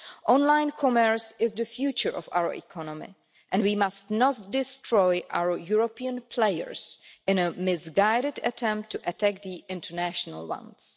Online commerce is the future of our economy and we must not destroy our European players in a misguided attempt to attack the international ones.